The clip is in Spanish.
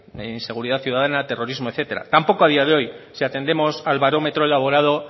inseguridad ciudadana terrorismo etcétera tampoco a día de hoy si atendemos al barómetro elaborado